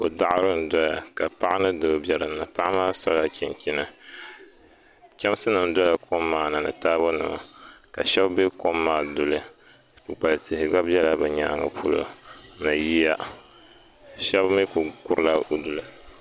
Kɔ daɣiri n dɔya ka paɣa ni doo bɛ din ni ka paɣa maa sola chinchini chamsi nim dɔla kɔm maa ni ni taabo nima ka shɛba bɛ kɔm maa duli kpukpali tihi gba bɛla bi nyaanga polo ni yiya shɛba mi ku kuri la di duli.